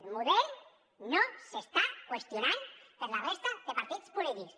el model no s’està qüestionant per la resta de partits polítics